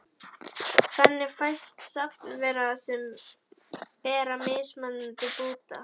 Þannig fæst safn veira sem bera mismunandi búta.